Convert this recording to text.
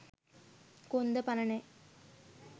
කොන්ද පණ නෑ